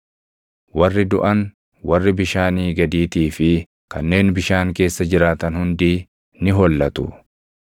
“Warri duʼan, warri bishaanii gadiitii fi kanneen bishaan keessa jiraatan hundii ni hollatu.